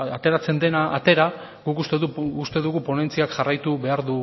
ateratzen dena atera guk uste dugu ponentziak jarraitu beharko